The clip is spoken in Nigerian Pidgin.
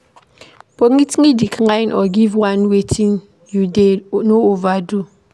Politely decline or give only wetin you get, no overdo